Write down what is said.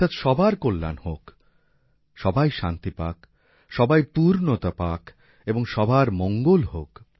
অর্থাৎ সবার কল্যাণ হোক সবাই শান্তি পাক সবাই পূর্ণতা পাক এবং সবার মঙ্গল হোক